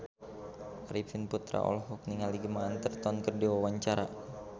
Arifin Putra olohok ningali Gemma Arterton keur diwawancara